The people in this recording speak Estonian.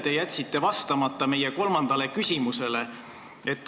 Te jätsite vastamata meie kolmandale küsimusele.